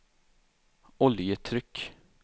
oljetryck